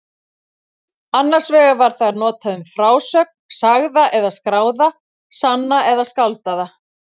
Annars vegar var það notað um frásögn, sagða eða skráða, sanna eða skáldaða.